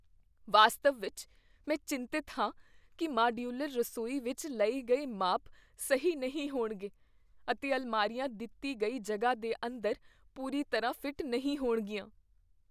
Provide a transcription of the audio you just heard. ਵਾਸਤਵ ਵਿਚ ਮੈਂ ਚਿੰਤਤ ਹਾਂ ਕੀ ਮਾਡਯੂਲਰ ਰਸੋਈ ਲਈ ਲਏ ਗਏ ਮਾਪ ਸਹੀ ਨਹੀਂ ਹੋਣਗੇ, ਅਤੇ ਅਲਮਾਰੀਆਂ ਦਿੱਤੀ ਗਈ ਜਗ੍ਹਾ ਦੇ ਅੰਦਰ ਪੂਰੀ ਤਰ੍ਹਾਂ ਫਿੱਟ ਨਹੀਂ ਹੋਣਗੀਆਂ।